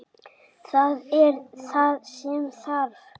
Það er það sem þarf.